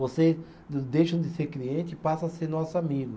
Vocês deixam de ser cliente e passam a ser nosso amigo.